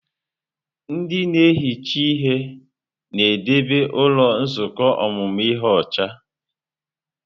Ndị na-ehicha ihe na-edebe ụlọ nzukọ ọmụmụ ihe ọcha.